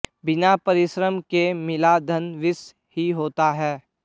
बिना परिश्रम के मिला धन विष ही होता है